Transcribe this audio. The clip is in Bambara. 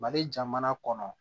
Mali jamana kɔnɔ